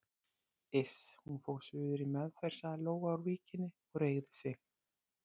Iss, hún fór suður í meðferð sagði Lóa úr Víkinni og reigði sig.